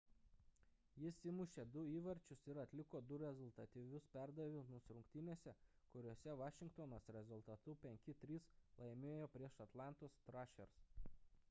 jis įmušė 2 įvarčius ir atliko 2 rezultatyvius perdavimus rungtynėse kuriose vašingtonas rezultatu 5:3 laimėjo prieš atlantos thrashers